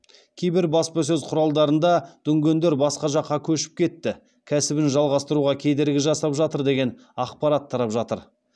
кейбір баспасөз құралында дүнгендер басқа жаққа көшіп кетті кәсібін жалғастыруға кедергі жасап жатыр деген ақпарат тарап жатыр